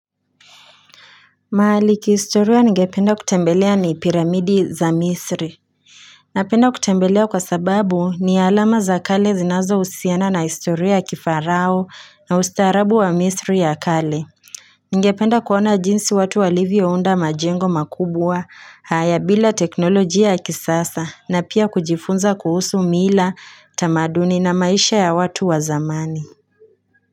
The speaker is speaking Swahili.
Maliki istoria ngependa kutembelea ni piramidi za misri Napenda kutembelea kwa sababu ni alama za kale zinazo usiana na istoria ya kifarao na ustarabu wa misri ya kale Ngependa kuona jinsi watu wa livio unda majengo makubwa haya bila teknolojia ya kisasa na pia kujifunza kuhusu miila tamaduni na maisha ya watu wa zamani.